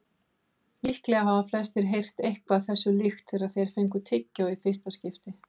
Líklega hafa flestir heyrt eitthvað þessu líkt þegar þeir fengu tyggjó í fyrsta skipti.